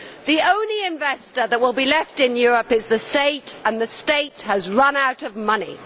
The only investor that will be left in Europe is the state, and the state has run out of money.